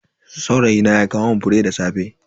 Saurayina ya kawo mun fure da safe.